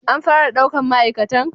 An fara ɗaukan ma'aikatan